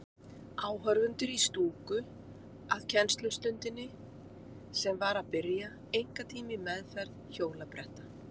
Áhorfendur í stúku að kennslustundinni sem var að byrja, einkatíma í meðferð hjólabretta.